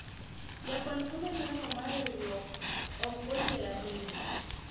jakwan omenda no mar riwruok ok odhier ahinya